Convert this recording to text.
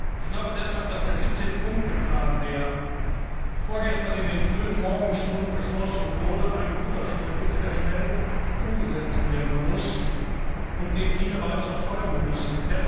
Ich glaube deshalb, dass der 17 Punkte Plan, der vorgestern in den frühen Morgenstunden beschlossen wurde, ein guter Schritt ist, der schnell umgesetzt werden muss und dem viele weitere folgen müssen.